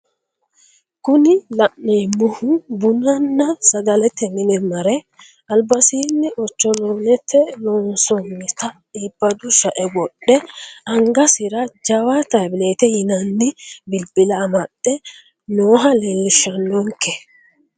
Kuni la'neemohu bununna sagalete mine mare albasiini ocholoonete lonsoonnita ibbado sha"e wodhe angasira jawa tabletete yinanni bilbila amadhe nooha leelishanonke.